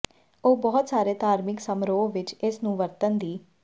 ਉਹ ਬਹੁਤ ਸਾਰੇ ਧਾਰਮਿਕ ਸਮਾਰੋਹ ਵਿੱਚ ਇਸ ਨੂੰ ਵਰਤਣ ਦੀ